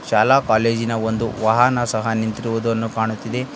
ಶಾಲಾ ಕಾಲೇಜಿನ ಒಂದು ವಾಹನ ಸಹ ನಿಂತಿರುವುದನ್ನು ಕಾಣುತ್ತಿದೆ.